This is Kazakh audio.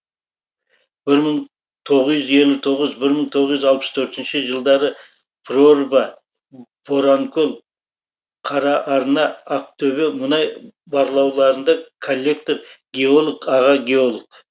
бір мың тоғыз жүз елу тоғыз бір мың тоғыз жүз алпыс төртінші жылдары прорва боранкөл қараарна ақтөбе мұнай барлауларында коллектор геолог аға геолог